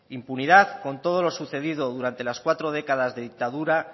impunidad con todo lo sucedido durante las cuatro décadas de dictadura